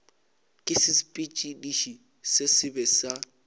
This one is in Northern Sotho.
ke sesepediši se sebe sa